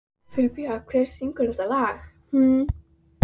Filippía, hver syngur þetta lag?